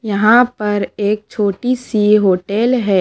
यहां पर एक छोटी सी होटेल है।